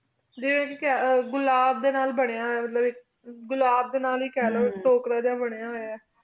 ਘੁਲਾਬ ਡੀ ਨਾਲ ਬਨਯ ਹੂਯ ਘੁਲਾਬ ਡੀ ਨਾਲ ਹੇ ਖਲੋ ਬਨਯ ਹੂਯ